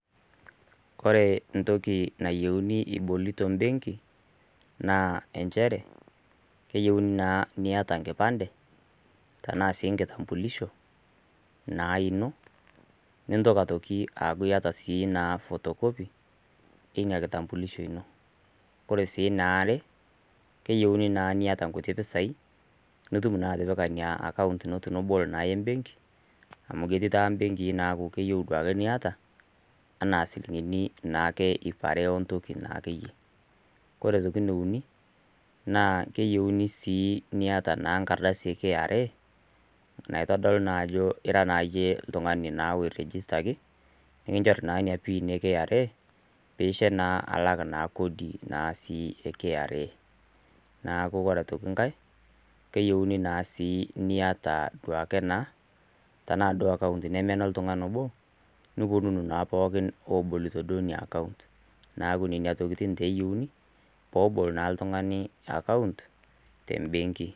Koree entoki nayieuni ibolito embenki na nchere keyieuni niata enkipande nintoki aaku iata photocopy ina kitambulisho inobore si eniare keyieuni niata nkuti pisai nipik embenki amu ketii mbenkii nakeyieuni niata keyieunibsi niaya enkardasi e kra naitodolu ajo ira registered nilak naa kodi e kra neaku ore poki ngae keyieuni niata polki suo account tanamaa enoltungani obo niponunu pooki abol inaakont neaku nona tokitin eyieuni pebol oltungani account tembenki